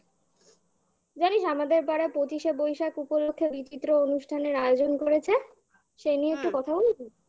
জানিস আমাদের পাড়া পঁচিশে বৈশাখ উপলক্ষে বিচিত্র অনুষ্ঠানের আয়োজন করেছে হুম সেই নিয়ে একটু কথা বলি?